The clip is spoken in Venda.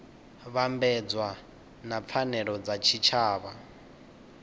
vhambedzwa na pfanelo dza tshitshavha